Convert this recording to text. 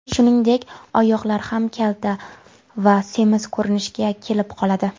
Shuningdek, oyoqlar ham kalta va semiz ko‘rinishga kelib qoladi.